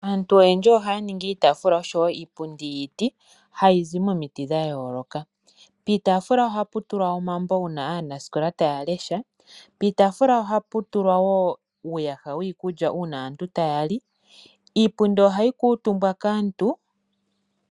Aantu oyendji ohaya ningi iitafula niipundi yiiti hayi zi momiti dha yooloka. Piitafula ohapu tulwa omambo uuna aanasikola taya lesha piitafula ohapu tulwa nuuyaha wiikulya uuna aantu taya li. Iipundi ohayi kutumbwa kaantu.